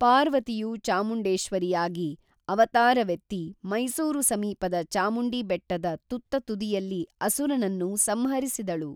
ಪಾರ್ವತಿಯು ಚಾಮುಂಡೇಶ್ವರಿಯಾಗಿ ಅವತಾರವೆತ್ತಿ ಮೈಸೂರು ಸಮೀಪದ ಚಾಮುಂಡಿ ಬೆಟ್ಟದ ತುತ್ತ ತುದಿಯಲ್ಲಿ ಅಸುರನನ್ನು ಸಂಹರಿಸಿದಳು